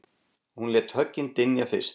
Hún lét höggin dynja fyrst